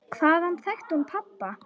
Hvaðan þekkti hún pabba?